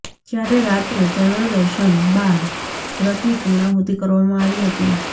જ્યારે રાત્રે ચંદ્રદર્શન બાદ વ્રતની પૂર્ણાહૂતિ કરવામાં આવી હતી